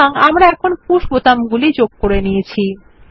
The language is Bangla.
সুতরাং এখন আমরা পুশ বোতাম গুলি যোগ করে নিয়েছি